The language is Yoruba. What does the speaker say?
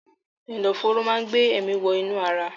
Ẹ̀dọ̀ fóóró máa ń gbé èémi wọ inú ara.